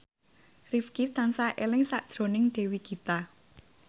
Rifqi tansah eling sakjroning Dewi Gita